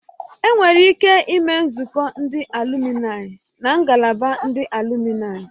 Enwere ike ime nzukọ ndị alụminayi na ngalaba ndị alụminayi